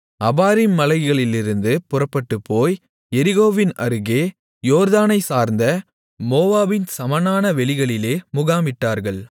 Abarim மலைகளிலிருந்து புறப்பட்டுப்போய் எரிகோவின் அருகே யோர்தானைச்சார்ந்த மோவாபின் சமனான வெளிகளிலே முகாமிட்டார்கள்